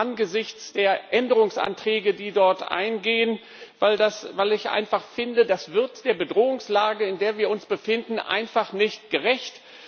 angesichts der Änderungsanträge, die dort eingehen, weil ich einfach finde, das wird der Bedrohungslage, in der wir uns befinden, einfach nicht gerecht.